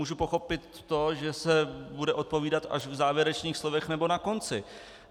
Můžu pochopit to, že se bude odpovídat až v závěrečných slovech nebo na konci.